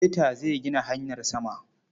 Beta zai gina hanyar sama.